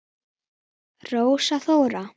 Rósa Þóra.